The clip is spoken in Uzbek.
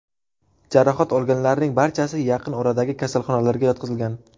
Jarohat olganlarning barchasi yaqin oradagi kasalxonalarga yotqizilgan.